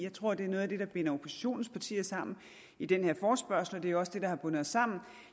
tror at det er noget af det der binder oppositionens partier sammen i den her forespørgsel og det er jo også det der har bundet os sammen